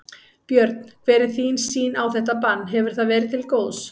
Björn: Hver er þín sýn á þetta bann, hefur það verið til góðs?